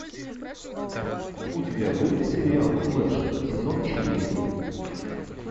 у тебя будет сериал флэш сезон четыре